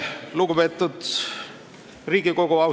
Lugupeetud Riigikogu!